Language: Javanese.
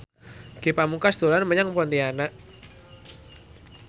Ge Pamungkas dolan menyang Pontianak